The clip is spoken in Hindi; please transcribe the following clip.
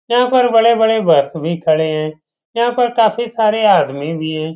यहां पर बड़े-बड़े बस भी खड़े हैं यहां पर काफी सारे आदमी भी है।